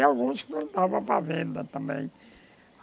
E alguns mandava para a venda também.